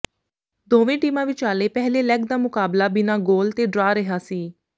ਦੋਵੇਂ ਟੀਮਾਂ ਵਿਚਾਲੇ ਪਹਿਲੇ ਲੈਗ ਦਾ ਮੁਕਾਬਲਾ ਬਿਨਾਂ ਗੋਲ ਦੇ ਡਰਾਅ ਰਿਹਾ ਸੀ